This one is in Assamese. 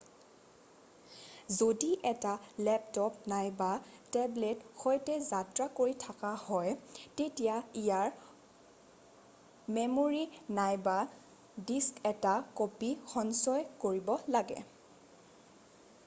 যদি এটা লেপট'প নাইবা টেবলেটৰ সৈতে যাত্ৰা কৰি থকা হয় তেতিয়া ইয়াৰ মেম'ৰী নাইবা ডিস্কত এটা ক'পী সঞ্চয় কৰিব লাগে৷